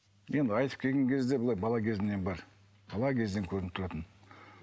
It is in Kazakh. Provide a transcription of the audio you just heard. енді айтып келген кезде былай бала кезімнен бар бала кезден көрініп тұратын